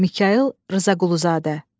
Mikayıl Rzaquluzadə.